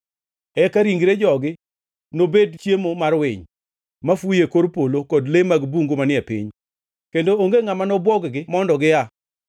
Eka ringre jogi nobed chiemo mar winy mafuyo e kor polo kod le mag bungu manie piny, kendo onge ngʼama nobwog-gi mondo gia.